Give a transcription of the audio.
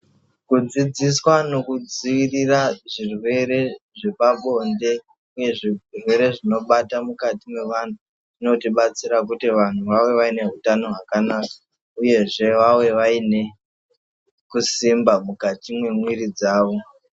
Kudzidziswa nokudziirira zvirwere zvepabonde nezvirwere zvinobata mukati mwevantu zvinotibatsira kuti vantu vave vaine utano hwakanaka uyezve vave vaine kusimba mukati mwemwiri dzavo.